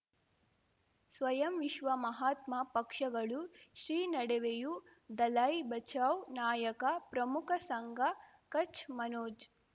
ಸ್ವಯಂ ವಿಶ್ವ ಮಹಾತ್ಮ ಪಕ್ಷಗಳು ಶ್ರೀ ನಡುವೆಯೂ ದಲೈ ಬಚೌ ನಾಯಕ ಪ್ರಮುಖ ಸಂಘ ಕಚ್ ಮನೋಜ್